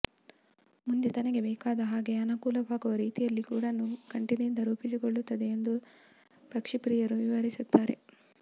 ಮುಂದೆ ತನಗೆ ಬೇಕಾದ ಹಾಗೆ ಅನುಕೂಲವಾಗುವ ರೀತಿಯಲ್ಲಿ ಗೂಡನ್ನು ಗಂಡಿನಿಂದ ರೂಪಿಸಿಕೊಳ್ಳುತ್ತದೆ ಎಂದು ಪಕ್ಷಿಪ್ರಿಯರು ವಿವರಿಸುತ್ತಾರೆ